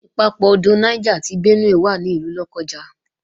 Ìpapọ̀ odò Niger àti Benue wà ní ìlú Lọ́kọ́ja